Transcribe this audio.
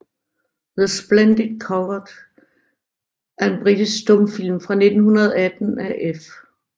The Splendid Coward er en britisk stumfilm fra 1918 af F